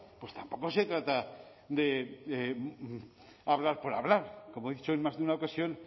pues tampoco se trata de hablar por hablar como he dicho en más de una ocasión